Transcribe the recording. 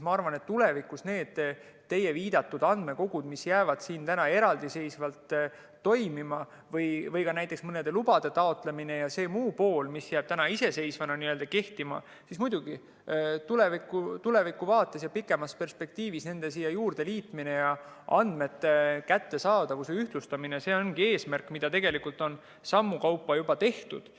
Ma arvan nende teie viidatud andmekogude kohta, mis jäävad praegu eraldiseisvalt toimima, või ka näiteks mõnede lubade taotlemise ja selle muu poole kohta, mis jääb nüüd iseseisvana n‑ö kehtima, siis muidugi tulevikuvaates ja pikemas perspektiivis nende siia juurde liitmine ja andmete kättesaadavuse ühtlustamine ongi eesmärk, mille poole tegelikult on sammu kaupa juba liigutud.